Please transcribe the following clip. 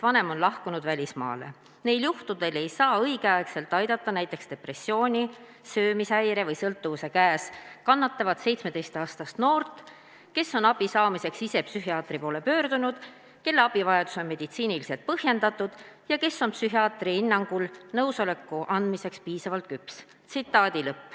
Neil juhtudel ei saa õigeaegselt aidata näiteks depressiooni, söömishäire või sõltuvuse käes kannatavat 17-aastast noort, kes on abi saamiseks ise psühhiaatri poole pöördunud, kelle abivajadus on meditsiiniliselt põhjendatud ja kes on psühhiaatri hinnangul nõusoleku andmiseks piisavalt küps.